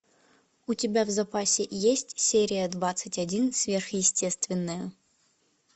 у тебя в запасе есть серия двадцать один сверхъестественное